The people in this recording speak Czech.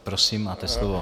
Prosím, máte slovo.